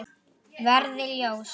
Verði ljós.